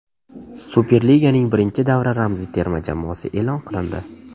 Superliganing birinchi davra ramziy terma jamoasi e’lon qilindi.